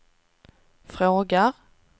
frågar